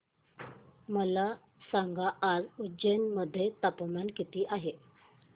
मला सांगा आज उज्जैन मध्ये तापमान किती आहे